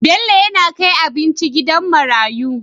Bello yAna kai abinci gidan marayu